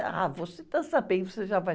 Ah, você está sabendo, você já vai.